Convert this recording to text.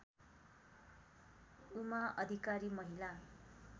उमा अधिकारी महिला